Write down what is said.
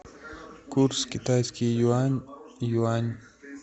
курс китайский юань юань